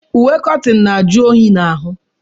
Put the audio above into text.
Uwe kọtịn na-ajụ oyi n'ahụ.